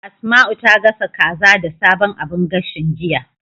Asma'u ta gasa kaza da sabon abun gashin, jiya.